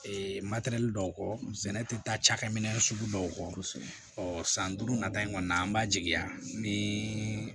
dɔw kɔ sɛnɛ tɛ taa cakɛminɛ sugu dɔw kɔ san duuru nata in kɔni an b'a jigiya ni